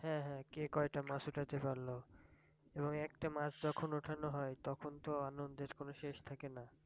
হ্যাঁ হ্যাঁ কে কয়টা মাছ উঠাতে পারলো এবং একটা মাছ যখন উঠানো হয় তখন তো আনন্দের কোনো শেষ থাকে না